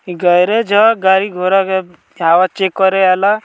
Garage ह गाड़ी-घोडा के हवा चेक करे आयला।